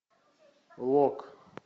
лок